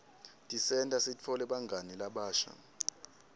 tisenta sitfole bangani labasha